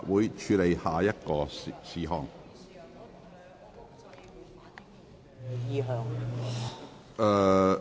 本會現處理下一事項。